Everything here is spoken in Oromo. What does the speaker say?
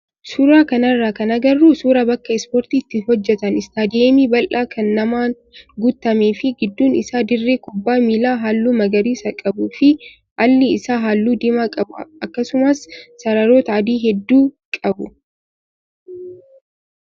Suuraa kanarraa kan agarru suuraa bakka ispoortii itti hojjatan istaadiyeemii bal'aa kan namaan guutamee fi gidduun isaa dirree kubbaa miilaa halluu magariisa qabuu fi alli isaa halluu diimaa qabu akkasuma sararoota adii hedduu qabu.